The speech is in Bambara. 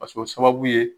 Paseke o sababu ye